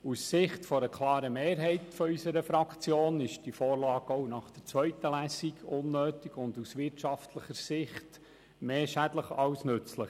Aus Sicht einer klaren Mehrheit unserer Fraktion ist diese Vorlage auch nach der zweiten Lesung unnötig und aus wirtschaftlicher Sicht mehr schädlich als nützlich.